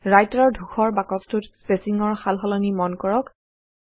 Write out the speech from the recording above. Writer ৰ ধূসৰ বাকছটোত স্পেচিঙৰ সালসলনি মন কৰক